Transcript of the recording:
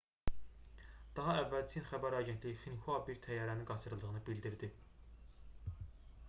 daha əvvəl çin xəbər agentliyi xinhua bir təyyarənin qaçırıldığını bildirdi